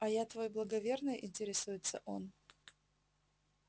а я твой благоверный интересуется он